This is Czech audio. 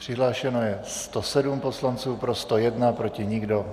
Přihlášeno je 107 poslanců, pro 101, proti nikdo.